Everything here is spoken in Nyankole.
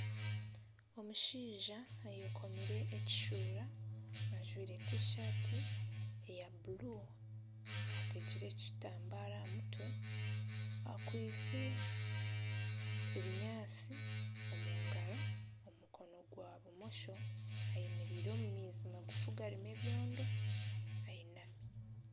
Omushaija ayekomire ekishuura, ajwire tishati eya buru, atekire ekitambara aha mutwe. Akwitse ebinyaatsi omungaro omu mukono gwa bumosho ayemereire omu maizi magufu garimu ebyondo, ayinami.